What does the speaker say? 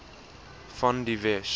van die wes